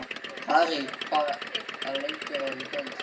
Harrý, hvaða leikir eru í kvöld?